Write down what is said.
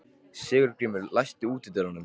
Sigurgrímur, læstu útidyrunum.